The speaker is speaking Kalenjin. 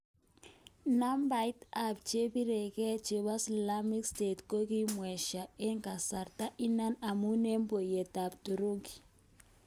Nabait ap chepirenge chepo slamik state kokimwesha en kasarta inan amun en poyiet ap thuruki.